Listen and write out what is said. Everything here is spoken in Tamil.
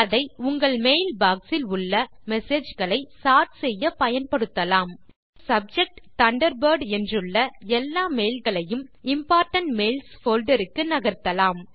அதை உங்கள் மெயில் பாக்ஸ் இல் உள்ள மெசேஜ் களை சோர்ட் செய்ய பயன்படுத்தலாம் இங்கே சப்ஜெக்ட் தண்டர்பர்ட் என்றுள்ள எல்லா மெயில் களையும் இம்போர்டன்ட் மெயில்ஸ் போல்டர் க்கு நகர்த்தலாம்